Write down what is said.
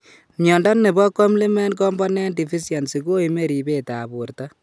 Miondo nebo Complement component deficiency ko ime ribet ab borto